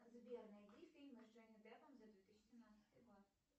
сбер найди фильм с джонни деппом за две тысячи двенадцатый год